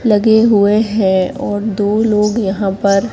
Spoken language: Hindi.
लगे हुए हैं और दो लोग यहां पर--